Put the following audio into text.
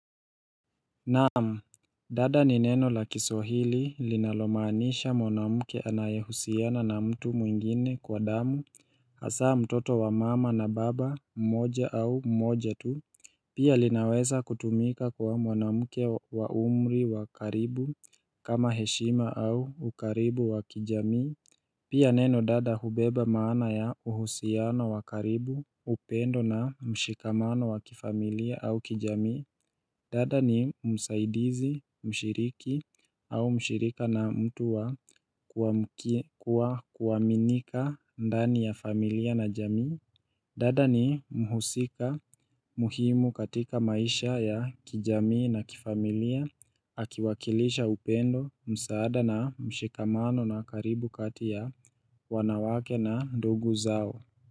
Naamu, dada ni neno la kiswahili linalomanisha mwanamuke anayehusiana na mtu mwingine kwa damu, hasa mtoto wa mama na baba mmoja au mmoja tu. Pia linaweza kutumika kwa mwanamuke wa umri wa karibu kama heshima au ukaribu wa kijamii. Pia neno dada hubeba maana ya uhusiana wa karibu upendo na mshikamano wa kifamilia au kijamii. Dada ni msaidizi, mshiriki au mshirika na mtu wa kuwa kuwaminika ndani ya familia na jamii dada ni mhusika muhimu katika maisha ya kijamii na kifamilia Akiwakilisha upendo, msaada na mshikamano na karibu kati ya wanawake na ndugu zao.